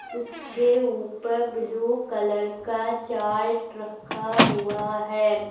उसके ऊपर blue colour का चार्ट रखा हुआ है।